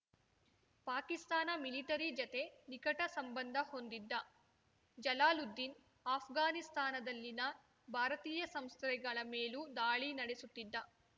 Pakistan military ಜತೆ ನಿಕಟ ಸಂಬಂಧ ಹೊಂದಿದ್ದ ಜಲಾಲುದ್ದೀನ್‌ ಆಷ್ಘಾನಿಸ್ತಾನದಲ್ಲಿನ ಭಾರತೀಯ ಸಂಸ್ಥೆಗಳ ಮೇಲೂ ದಾಳಿ ನಡೆಸುತ್ತಿದ್ದ